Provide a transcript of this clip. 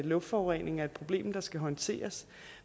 luftforurening er et problem der skal håndteres